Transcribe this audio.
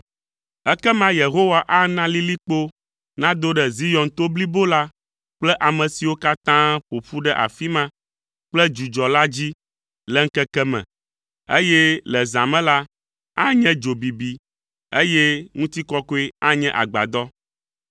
Ekema Yehowa ana lilikpo nado ɖe Zion to blibo la kple ame siwo katã ƒo ƒu ɖe afi ma kple dzudzɔ la dzi le ŋkeke me, eye le zã me la, anye dzo bibi, eye ŋutikɔkɔe anye agbadɔ.